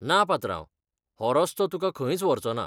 ना पात्रांव, हो रस्तो तुका खंयच व्हरचोना.